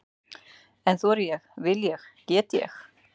En þori ég, vil ég, get ég?